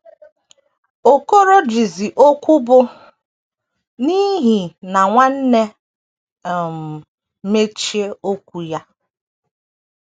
Okorojizi okwu bụ́, “ n’ihi na nwanne, ” um mechie okwu ya.